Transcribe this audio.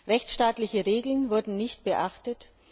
Rechtsstaatliche Regeln wurden nicht beachtet.